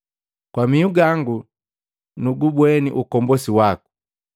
kwa mihu gangu nugubweni ukombosi waku,